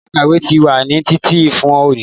Yàrá ìkàwé ti wà ní títì fún òní